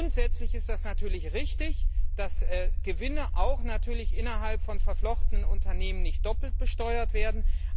Grundsätzlich ist es natürlich richtig, dass Gewinne auch innerhalb von verflochtenen Unternehmen nicht doppelt besteuert werden.